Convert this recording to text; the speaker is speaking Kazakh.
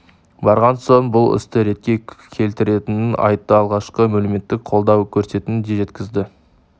барған соң бұл істі ретке келтіретінін айтты алғашқы әлеуметтік қолдау көрсететінін де жеткізді